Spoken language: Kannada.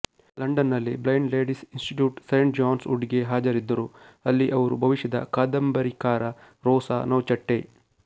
ಲಂಡನ್ನಲ್ಲಿ blind ladies institute saint John's ವುಡ್ಗೆ ಹಾಜರಿದ್ದರು ಅಲ್ಲಿ ಅವರು ಭವಿಷ್ಯದ ಕಾದಂಬರಿಕಾರ ರೊಸಾ ನೌಚೆಟ್ಟೆ